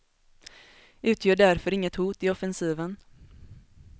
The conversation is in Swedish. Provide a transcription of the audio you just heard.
Utgör därför inget hot i offensiven.